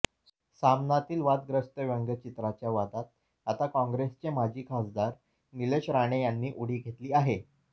सामनातील वादग्रस्त व्यंगचित्राचा वादात आता काँग्रेसचे माजी खासदार निलेश राणे यांनी उडी घेतली आहे